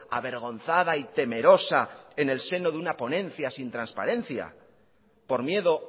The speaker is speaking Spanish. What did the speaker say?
avergonzada y temerosa en el seno de una ponencia sin transparencia por miedo